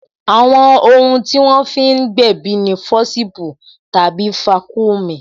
Àwọn ohun tí wọ́n fi ń gbèbí ni fọsipu tàbí vaccumy